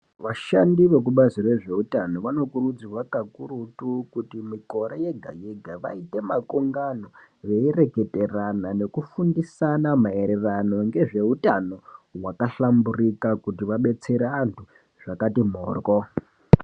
Vashandi vokubazi rezveutano vanokurudzirwa kakurutu kuti mikore yega-yega vaite makungano veireketerana nekufundisana maererano ngezveutano hwakahlamburika kuti vabetsera antu zvakati mhoryo.